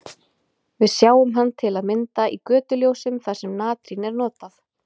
Við sjáum hann til að mynda í götuljósum þar sem natrín er notað.